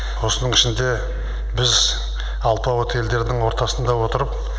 осының ішінде біз алпауыт елдердің ортасында отырып